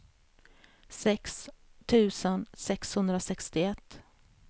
sex tusen sexhundrasextioett